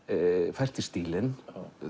fært í stílinn